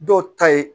Dɔw ta ye